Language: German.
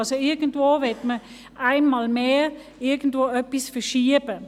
Also: Irgendwo will man einmal mehr irgendetwas verschieben.